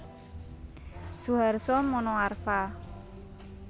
Suharso Monoarfa